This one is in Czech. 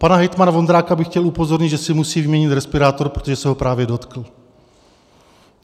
Pana hejtmana Vondráka bych chtěl upozornit, že si musí vyměnit respirátor, protože se ho právě dotkl.